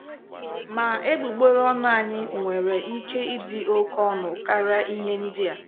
Ma, egbugbere ọnụ anyị nwere ike ịdị oké ọnụ karịa ihe ndịa.